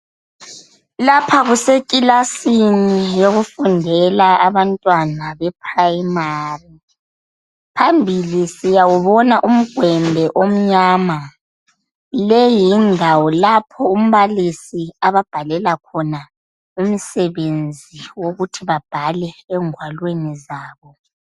Lapha kusekilasini yokufundela abantwana be primary phambili siyawubona umgwembe omnyama leyi yindawo lapho umbalisi ababhalela khona imisebenzi wokuthi babhale engwalwini zabo.